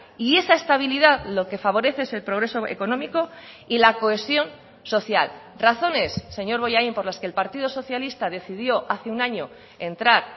y esa estabilidad lo que favorece es el progreso económico y la cohesión social razones señor bollain por las que el partido socialista decidió hace un año entrar